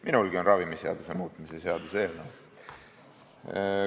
Minulgi on ravimiseaduse muutmise seaduse eelnõu.